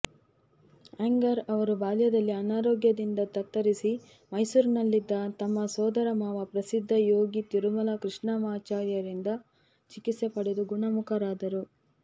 ಅಯ್ಯಂಗಾರ್ ಅವರು ಬಾಲ್ಯದಲ್ಲಿ ಅನಾರೋಗ್ಯದಿಂದ ತತ್ತರಿಸಿ ಮೈಸೂರಿನಲ್ಲಿದ್ದ ತಮ್ಮ ಸೋದರಮಾವ ಪ್ರಸಿದ್ಧ ಯೋಗಿ ತಿರುಮಲ ಕೃಷ್ಣಮಾಚಾರ್ಯರಿಂದ ಚಿಕಿತ್ಸೆ ಪಡೆದು ಗುಣಮುಖರಾದರು